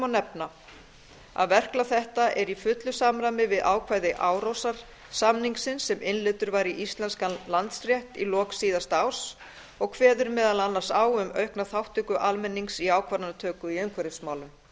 nefna að verklag þetta er í fullu samræmi við ákvæði árósasamningsins sem innleiddur var í íslenskan landsrétt við lok síðan árs og kveður meðal annars á um aukna þátttöku almennings í ákvarðanatöku í umhverfismálum